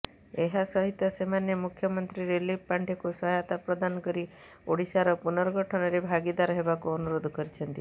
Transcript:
ଏହାସହିତ ସେମାନେ ମୁଖ୍ୟମନ୍ତ୍ରୀ ରିଲିଫ ପାଣ୍ଠିକୁ ସହାୟତା ପ୍ରଦାନ କରି ଓଡ଼ିଶାର ପୁର୍ନଗଠନରେ ଭାଗିଦାର ହେବାକୁ ଅନୁରୋଧ କରିଛନ୍ତି